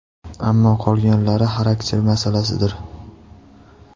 Ammo qolganlari xarakter masalasidir.